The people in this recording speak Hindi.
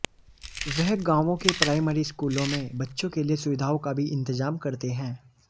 वह गांवों के प्राइमरी स्कूलों में बच्चों के लिए सुविधाओं का भी इंतजाम करते हैं